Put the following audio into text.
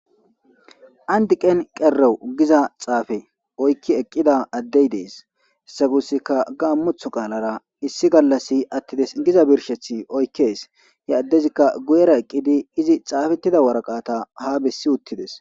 Andiqen qero giza xaafe oykki eqqida addey dees sagussika gaammuth qaalara issi gallassi attides giza birshethi oykkes yeaddezikka guyera eqqidi izi xaafettida waraqata ha bessi uttides.